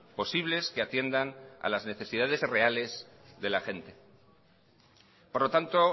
posibles que atiendan a las necesidades reales de la gente por lo tanto